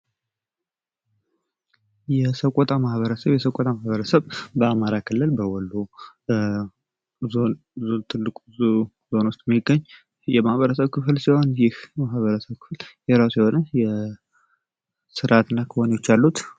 የሰቆጣ ማህበረሰብ የሰቆጣ ማህበረሰብ በአማራ ክልል በወሎ ዞን ትልቁ ዞን የሚገኝ የማህበረሰብ ክፍል ሲሆን ይህ የማህበረሰብ ክፍል የራሱ የሆነ ስርአትና ክዋኔዎች አሉት።